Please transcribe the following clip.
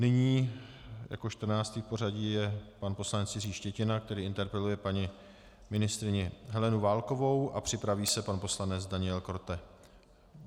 Nyní jako 14. v pořadí je pan poslanec Jiří Štětina, který interpeluje paní ministryni Helenu Válkovou, a připraví se pan poslanec Daniel Korte.